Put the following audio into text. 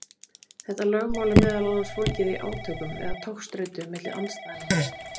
Þetta lögmál er meðal annars fólgið í átökum eða togstreitu milli andstæðna.